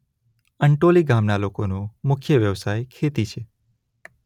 અંટોલી ગામના લોકોનો મુખ્ય વ્યવસાય ખેતી છે.